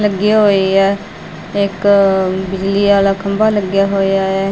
ਲੱਗੇ ਹੋਏ ਆ ਇੱਕ ਬਿਜਲੀ ਵਾਲਾ ਖੱਬਾ ਲੱਗਿਆ ਹੋਇਆ ਹੈ।